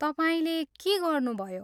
तपाईँले के गर्नुभयो?